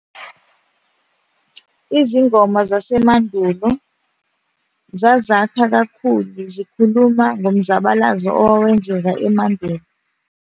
Izingoma zasemandulo zazakha kakhulu, zikhuluma ngomzabalazo owawenzeka emandulo.